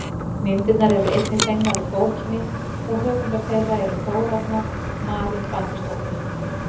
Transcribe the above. myndirnar eru einnig fengnar úr bókinni og höfundur þeirra er þórarna marín baldursdóttir